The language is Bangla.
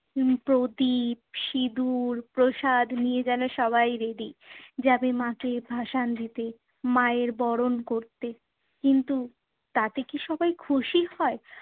উহ প্রদীপ, সিঁদুর, প্রসাদ নিয়ে যেন সবাই ready যাবে মাকে ভাসান দিতে, মায়ের বরণ করতে। কিন্তু তাতে কি সবাই খুশি হয়?